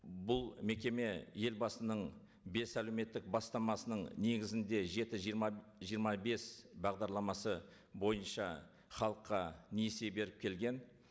бұл мекеме елбасының бес әлеуметтік бастамасының негізінде жеті жиырма жиырма бес бағдарламасы бойынша халыққа несие беріп келген